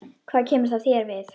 Hvað kemur það þér við?